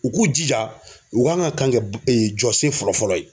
U k'u jija u k'an ka kan kɛ jɔsen fɔlɔ fɔlɔ ye.